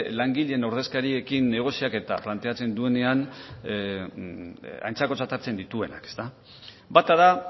langileen ordezkariekin negozia eta planteatzen duenean aintzakotzat hartzen dituenak ezta bata da